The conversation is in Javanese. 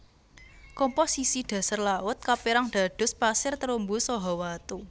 Komposisi dhasar laut kaperang dados pasir terumbu saha watu